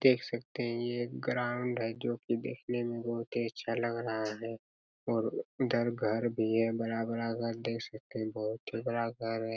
देख सकते हैं ये ग्राउंड हैं जो की देखने में बहुत ही अच्छा लग रहा हैं और उधर घर भी हैं बड़ा बड़ा घर देख सकते हैं बहुत ही बड़ा घर हैं।